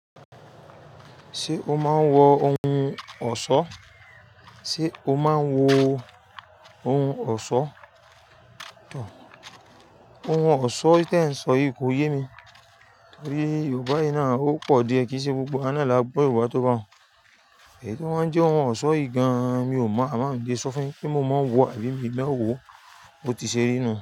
Ṣé o máa ń wọ ohun ọ̀ṣọ́? Sé o máa ń wọ ohun ọ̀ṣọ́? Ohun ọ̀ṣọ́ tí ẹ ń sọ yìí kò yé mi. Torí Yorùbá yẹn náà ó pọ̀ díẹ̀ kí í ṣe gbogbo wá náà lagbọ́ Yorùbá tó bá wù. Èyí tí wá ń jẹ́ ohun ọ̀ṣọ́ yìí gan mi ò mọ̀, àmọ́ ń lé sọ fún yín ṣe mò mọ ń wọ àbí mi lẹ́wò Bó ti ṣe rínú.